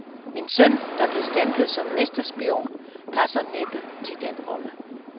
Min søn, der blev stemplet som mesterspion, passer næppe til den rolle.